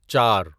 چار